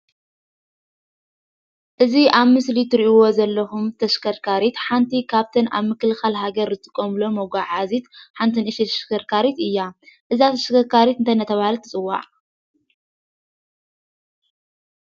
እዚ ኣብ ምስሊ እትርእዎ ዘለኩም ተሽከርካሪት ሓንቲ ካብ እተን ኣብ ምክልካል ሃገር ዝጥቀሙሎም መጓዓዓዚት ሓንቲ ንእሽተይ ተሽከርካሪት እያ፡፡ እዛ ተሽከርካሪት እንታይ እናተባሃለት ትፅዋዕ?